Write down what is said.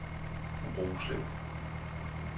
Roslev